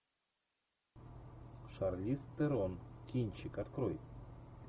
шарлиз терон кинчик открой